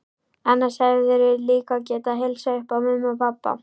Annars hefðirðu líka getað heilsað upp á mömmu og pabba.